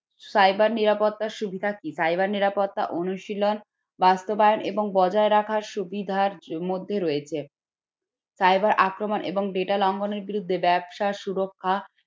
cyber নিরাপত্তার সুবিধা কি cyber নিরাপত্তা অনুশীলন বাস্তবায়ন এবং বজায় রাখার সুবিধার জন্য মধ্যে রয়েছে cyber আক্রমণ এবং data লঙ্ঘনের বিরুদ্ধে ব্যবসা সুরক্ষা